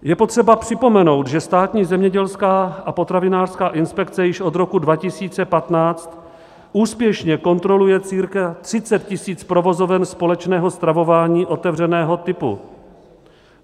Je potřeba připomenout, že Státní zemědělská a potravinářská inspekce již od roku 2015 úspěšně kontroluje cca 30 000 provozoven společného stravování otevřeného typu.